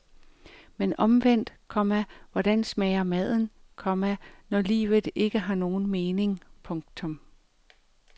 Men omvendt, komma hvordan smager maden, komma når livet ikke har nogen mening. punktum